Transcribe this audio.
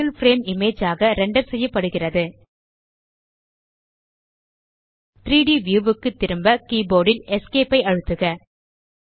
ஒரு single frame image ஆக render செய்யப்படுகிறது 3ட் வியூ க்கு திரும்ப கீபோர்ட் ல் Esc ஐ அழுத்துக